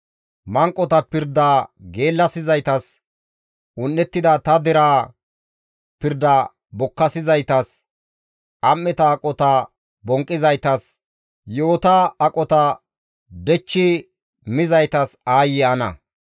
Manqota pirda geellasizaytas, un7ettida ta dereza pirda bokkasizaytas, am7eta aqota bonqqizaytas, yi7ota aqota dhechchi mizaytas aayye ana!